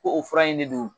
Ko o fura in de don